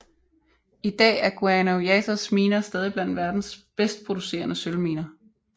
I dag er Guanajuatos miner stadig blandt verdens bedst producerende sølvminer